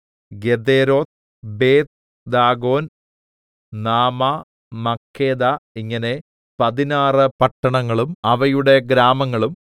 Gederoth Beth Dagon Naamah Makkedah ഇങ്ങനെ പതിനാറ് പട്ടണങ്ങളും അവയുടെ ഗ്രാമങ്ങളും